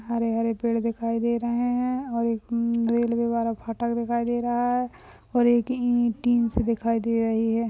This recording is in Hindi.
हरहरे पेड़ दिखाई दे रहे है और एक अम रेल्वेवाला फाटक दिखाई दे रहा है और एक ई टीन सी दिखाई दे रही है।